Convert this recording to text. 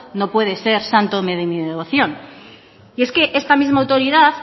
no puede ser santo de mi devoción es que esta misma autoridad